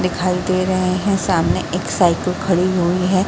दिखाई दे रहे हैं। सामने एक साइकिल खड़ी हुई है।